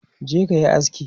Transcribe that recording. je kayi aski!